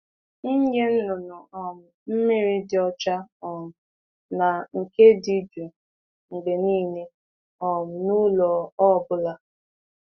Nye anụ ọkụkọ ohere inweta mmiri dị ọcha juru oyi mgbe niile n'ụlọ ha niile. ha niile.